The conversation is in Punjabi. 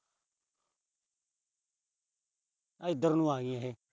ਇਧਰ ਨੂੰ ਆ ਗਈਆਂ ਇਹ।